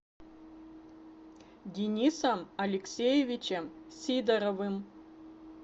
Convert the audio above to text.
денисом алексеевичем сидоровым